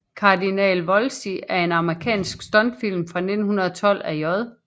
Cardinal Wolsey er en amerikansk stumfilm fra 1912 af J